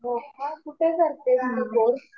हो का. कुठे करते आणि कोर्स?